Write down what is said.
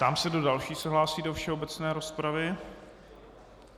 Ptám se, kdo další se hlásí do všeobecné rozpravy.